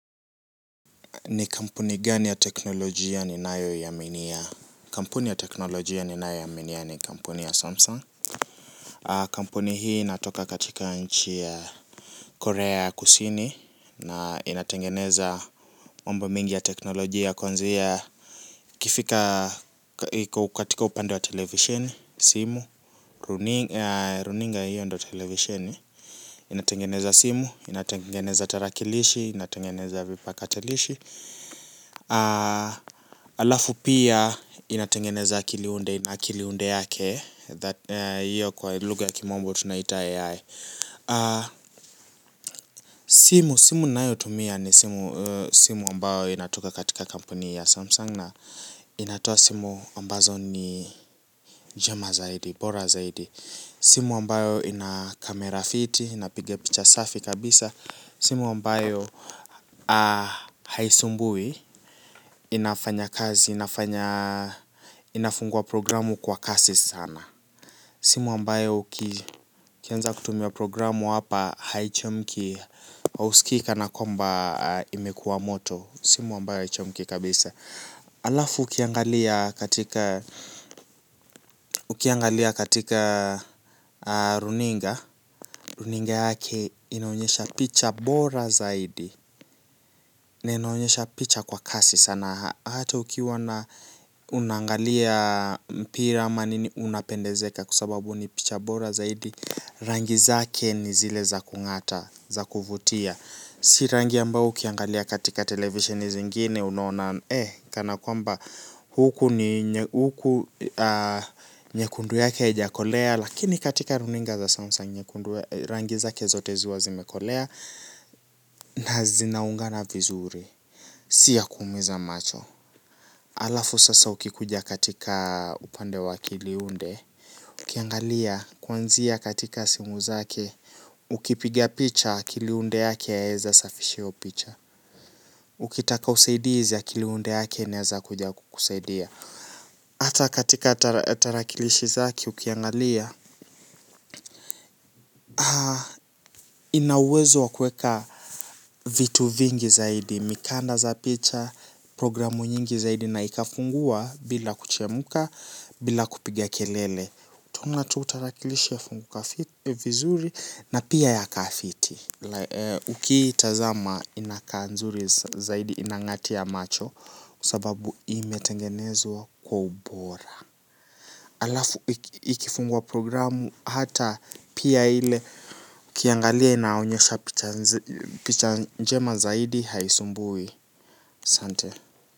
Ni kampuni gani ya teknolojia ninayoiaminia. Kampuni ya teknolojia ni nayoaminia ni kampuni ya Samsung. Kampuni hii inatoka katika nchi ya Korea kusini na inatengeneza mambo mengi ya teknolojia kwanzia ikifika katika upande wa television, simu, runinga hiyo ndio televisheni. Inatengeneza simu, inatengeneza tarakilishi, inatengeneza vipakatilishi. Alafu pia inatengeneza kili unde na kili unde yake. Iyo kwa lugha ya kimombo tunaita AI. Simu ninayotumia ni simu ambayo inatoka katika kampuni ya Samsung. Na inatoa simu ambazo ni njema zaidi, bora zaidi. Simu ambayo ina kamera fiti, inapiga picha safi kabisa simu ambayo haisumbui inafanya kazi inafungua programu kwa kasi sana. Simu ambayo ukianza kutumia programu hapa haichemki, hauskii kana kwamba imekuwa moto. Simu ambayo haichemki kabisa. Alafu ukiangalia katika, ukiangalia katika runinga runinga yake inaonyesha picha bora zaidi. Na inaonyesha picha kwa kasi sana. Hata ukiwa na unaangalia mpira ama nini unapendezeka kwa sababu ni picha bora zaidi. Rangi zake ni zile za kungata, za kuvutia. Si rangi ambayo ukiangalia katika televisioni zingine unaona Eh, kana kwamba huku ni nyekundu yake haijakolea. Lakini katika runinga za samsung, rangi zake zote huwa zimekolea. Na zinaungana vizuri, si ya kuumiza macho. Alafu sasa ukikuja katika upande wa kiliunde, ukiangalia kwanzia katika simu zake, ukipigia picha kiliunde yake yaeza safisha hiyo picha. Ukitaka usaidizi ya kiliunde yake naeza kuja kukusaidia. Hata katika tarakilishi zake ukiangalia, ina uwezo wa kuweka vitu vingi zaidi, mikanda za picha, programu nyingi zaidi na ikafungua bila kuchemka, bila kupiga kelele. Utaona tu tarakilishi yafunguka vizuri na pia ya kaa fiti. Ukiitazama inakaa nzuri zaidi inangatia macho. Sababu imetengenezwa kwa ubora. Alafu ikifungwa programu hata pia ile ukiangalia inaonyesha picha njema zaidi haisumbui ahsante.